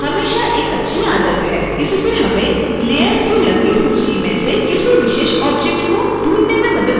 इससे हमें layers की लंबी सूची में से किसी विशेष ऑब्जेक्ट को ढूँढने में मदद मिलती है